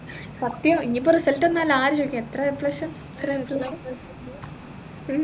സത്യം ഇനി ഇപ്പൊ result വന്നാൽ ആര് ചോദിക്കാൻ എത്ര A plus എത്ര Aplus